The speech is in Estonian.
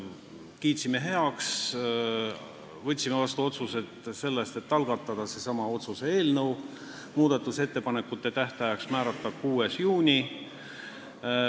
Me kiitsime selle heaks ja võtsime vastu otsuse algatada seesama otsuse eelnõu ning muudatusettepanekute esitamise tähtajaks määrata 6. juuni.